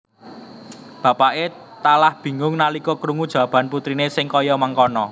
Bapakke talah bingung nalika krungu jawabe putrine sing kaya mengkana